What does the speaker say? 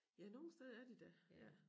Ja nogle steder er de da ja